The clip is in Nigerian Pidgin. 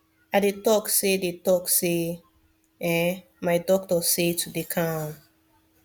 i dey talk say dey talk say eeh my doctor say to dey calm